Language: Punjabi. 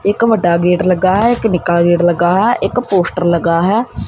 ਇੱਕ ਵੱਡਾ ਗੇਟ ਲੱਗਾ ਹੈ ਇੱਕ ਨਿੱਕਾ ਗੇਟ ਲੱਗਾ ਹੈ ਇੱਕ ਪੋਸਟਰ ਲੱਗਾ ਹੈ।